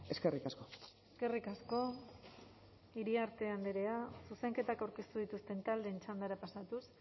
eskerrik asko eskerrik asko iriarte andrea zuzenketak aurkeztu dituzten taldeen txandara pasatuz